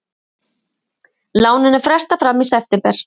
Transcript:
Láninu frestað fram í september